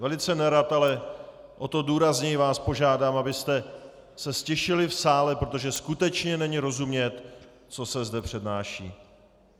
Velice nerad, ale o to důrazněji vás požádám, abyste se ztišili v sále, protože skutečně není rozumět, co se zde přednáší.